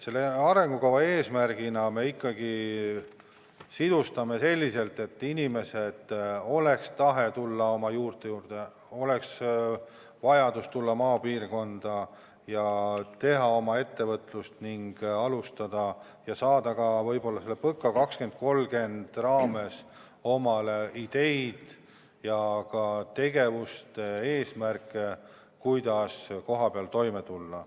Selle arengukava eesmärgi me ikkagi sisustame selliselt, et inimestel oleks tahe tulla oma juurte juurde, oleks vajadus tulla maapiirkonda, teha oma ettevõtlust ning alustada tegevust, saades selleks võib-olla ka PõKa 2030-st ideid, kuidas kohapeal toime tulla.